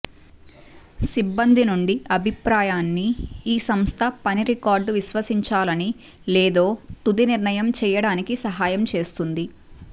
సిబ్బంది నుండి అభిప్రాయాన్ని ఈ సంస్థ పని రికార్డు విశ్వసించాలని లేదో తుది నిర్ణయం చేయడానికి సహాయం చేస్తుంది